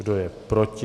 Kdo je proti?